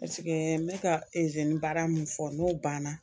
n bɛ ka izinibara min fɔ n'o banna